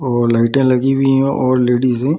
ओ लाइटें लगी हुई है और लेडीजे --